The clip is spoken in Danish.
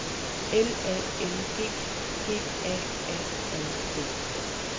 L A N G G A A R D